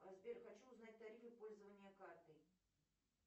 сбер хочу узнать тарифы пользования картой